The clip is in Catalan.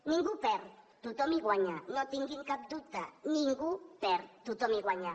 ningú hi perd tothom hi guanya no en tinguin cap dubte ningú hi perd tothom hi guanya